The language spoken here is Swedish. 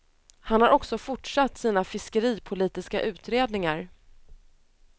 Han har också fortsatt sina fiskeripolitiska utredningar.